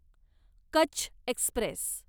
Kutch Express